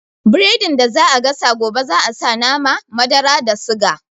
Biredin da za a gasa gobe za a sa nama, madara da suga